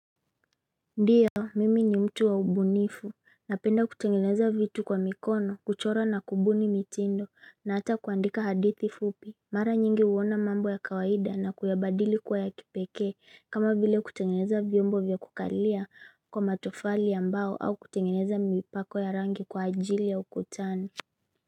Ndio, mimi ni mtu wa ubunifu, napenda kutengeneza vitu kwa mikono, kuchora na kubuni mitindo, na hata kuandika hadithi fupi Mara nyingi huona mambo ya kawaida na kuyabadili kuwa ya kipekee, kama vile kutengeneza vyombo vya kukalia kwa matofali ambao au kutengeneza mipako ya rangi kwa ajili ya ukutani.